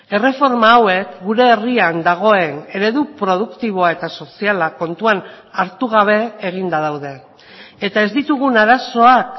erreforma hauek gure herrian dagoen eredu produktiboa eta soziala kontuan hartu gabe eginda daude eta ez ditugun arazoak